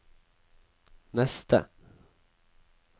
neste